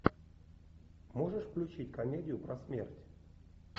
можешь включить комедию про смерть